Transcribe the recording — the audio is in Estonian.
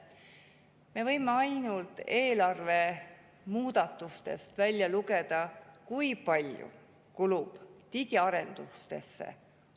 Me võime ainult eelarve muudatustest välja lugeda, kui palju kulub digiarendustesse.